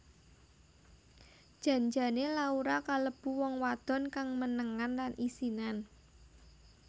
Jan jane Laura kalebu wong wadon kang menengan lan isinan